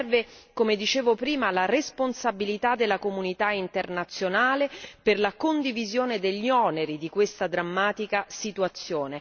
Serve come dicevo prima la responsabilità della comunità internazionale per la condivisione degli oneri di questa drammatica situazione.